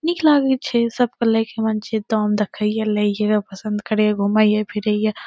निक लागी छे सब तो लइकवन छे दाम देख हिय लइकवे पसंद करे एगो मइये भीर रहिये।